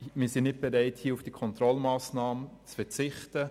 Wir sind nicht bereit, auf diese Kontrollmassnahme zu verzichten.